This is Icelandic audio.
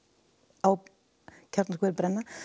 á kjarnorkuverið brenna